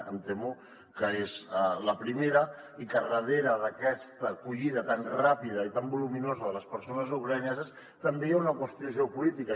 em temo que és la primera i que darrere d’aquesta acollida tan ràpida i tan voluminosa de les persones ucraïneses també hi ha una qüestió geopolítica